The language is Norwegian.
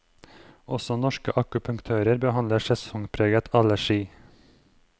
Også norske akupunktører behandler sesongpreget allergi.